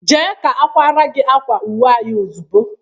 Jee ka a kwaara gị akwa uwe anyị ozugbo!